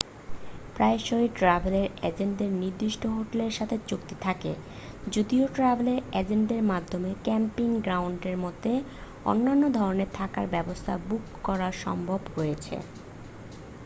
প্রায়শই ট্র্যাভেল এজেন্টদের নির্দিষ্ট হোটেলের সাথে চুক্তি থাকে যদিও ট্র্যাভেল এজেন্টের মাধ্যমে ক্যাম্পিং গ্রাউন্ডের মতো অন্যান্য ধরণের থাকার ব্যবস্থা বুক করার সম্ভাবনা রয়েছে